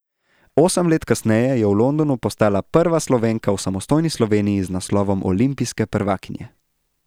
Osem let kasneje je v Londonu postala prva Slovenka v samostojni Sloveniji z naslovom olimpijske prvakinje.